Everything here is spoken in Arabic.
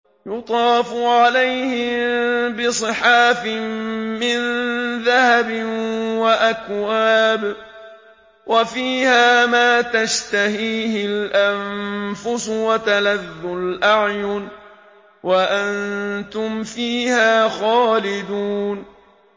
يُطَافُ عَلَيْهِم بِصِحَافٍ مِّن ذَهَبٍ وَأَكْوَابٍ ۖ وَفِيهَا مَا تَشْتَهِيهِ الْأَنفُسُ وَتَلَذُّ الْأَعْيُنُ ۖ وَأَنتُمْ فِيهَا خَالِدُونَ